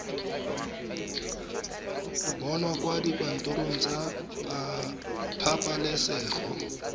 bonwa kwa dikantorong tsa pabalesego